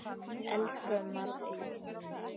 Elsku Maddý mín.